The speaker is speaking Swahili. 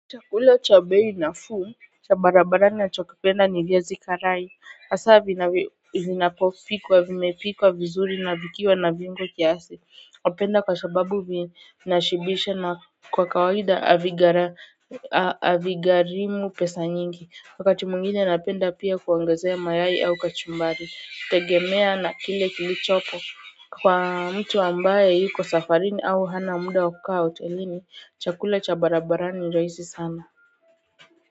Chakula cha bei nafuu cha barabarani nachokipenda ni viazi karai hasa vinapopikwa vimepikwa vizuri na vikiwa na vinugo kiasi hupenda kwa sababu vinashibisha na kwa kawaida havighalimu pesa nyingi wakati mwingine napenda pia kuangazia mayai au kachumbari tegemea na kile kilichopo kwa mtu ambaye yuko safarini au hana muda wa kukaa hotelini chakula cha barabarani rahisi sana.